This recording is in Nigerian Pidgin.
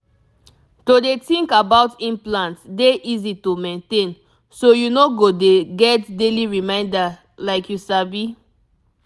to dey think about implant dey easy to maintain so you no go dey get daily reminder like you sabi